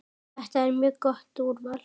Þetta er mjög gott úrval.